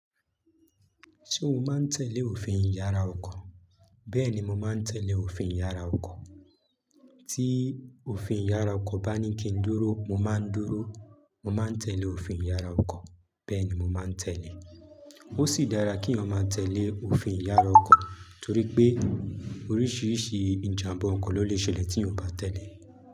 Ṣé o máa ń tẹ̀lé òfin ìyára ọkọ̀? Bẹ́ẹ̀ni, mo máa ń tẹ̀lé òfin ìyára ọkọ̀. Tí òfin ìyára ọkọ̀ bá ní kí n dúró, mo máa ń dúró. Mo máa ń tẹ̀lé òfin ìyára ọkọ̀, bẹ́ẹ̀ ni mo máa ń tẹ̀lé. Ó sì dára kí eeyan ma tẹ̀lé òfin ìyára ọkọ̀ torí pé oríṣiríṣi ìjàmbá ọkọ̀ ló lè ṣẹlẹ̀ tí eeyan ò bá tẹ̀lé.